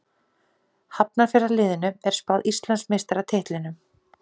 Síðan hann fór hefur liðið hins vegar einungis einu sinni orðið ítalskur meistari.